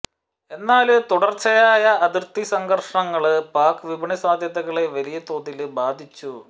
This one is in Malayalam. എന്നാല് തുടര്ച്ചയായ അതിര്ത്തി സംഘര്ഷങ്ങള് പാക് വിപണി സാധ്യതകളെ വലിയ തോതില് ബാധിച്ചു